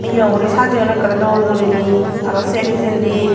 yo guri sajaone akoray doll guri ney arow sey pijendi.